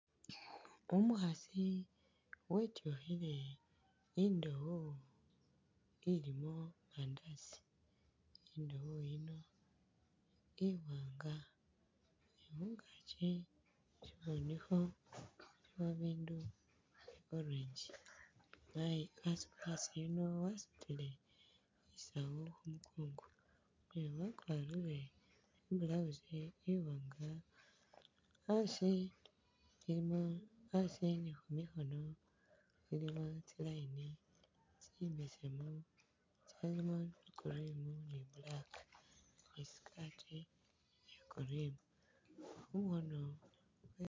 Umukhaasi wetyukhile indowo ilimo Mandasi, indowo yino iwanga ni khungaaki sifunikho silikho bindu orange umukhaasi yuuno wasutile isaawu khumunkongo kwewe, wakwarile i'blouse iwanga asi ilimo asi ni khumikhono ilimo tsi'line, tsimbesemu tsilimo cream ni black ni skirt iya' cream, mukhono...